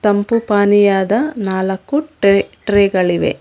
ತಂಪು ಪಾನೀಯದ ನಾಲ್ಕು ಟ್ರೇ ಟ್ರೇ ಗಳಿವೆ.